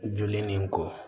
Joli nin kɔ